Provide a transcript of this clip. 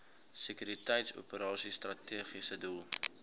sekuriteitsoperasies strategiese doel